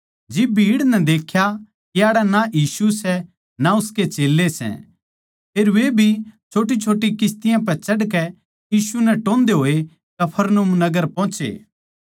जिब भीड़ नै देख्या के याड़ै ना यीशु सै अर ना उसके चेल्लें फेर वे भी छोट्टीछोट्टी किस्तियाँ पै चढ़कै यीशु नै टोन्दे होए कफरनहूम नगर पोहोचे